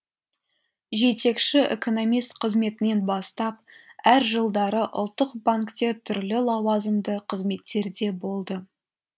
жетекші экономист қызметінен бастап әр жылдары ұлттық банкте түрлі лауазымды қызметтерде болды